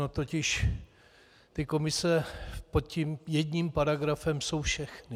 Ony totiž ty komise pod tím jedním paragrafem jsou všechny.